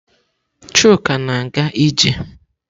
Chuka na-aga ije?